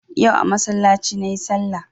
Yau a masallaci nayi sallah